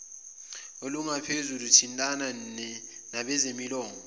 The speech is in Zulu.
olungaphezulu thintana nabezolimo